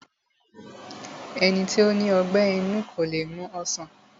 Ẹni tó ní ọgbẹ́ inú kó le mu ọsàn